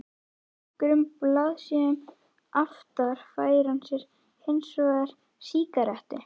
Nokkrum blaðsíðum aftar fær hann sér hins vegar sígarettu.